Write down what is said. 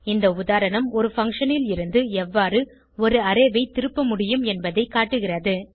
இந்த உதாரணம் ஒரு பங்ஷன் லிருந்து எவ்வாறு ஒரு அரே ஐ திருப்ப முடியும் என்பதை காட்டுகிறது